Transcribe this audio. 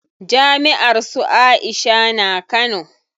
Jami'ar su Aisha na Kano.